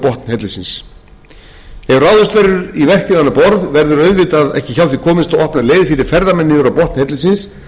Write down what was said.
borð verður auðvitað ekki hjá því komist að opna leið fyrir ferðamenn niður á botn hellisins það er hreinlega ekki